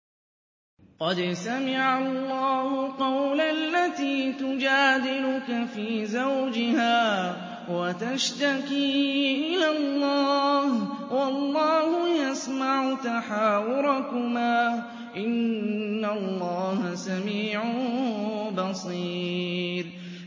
قَدْ سَمِعَ اللَّهُ قَوْلَ الَّتِي تُجَادِلُكَ فِي زَوْجِهَا وَتَشْتَكِي إِلَى اللَّهِ وَاللَّهُ يَسْمَعُ تَحَاوُرَكُمَا ۚ إِنَّ اللَّهَ سَمِيعٌ بَصِيرٌ